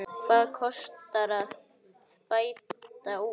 Hvað kostar að bæta úr?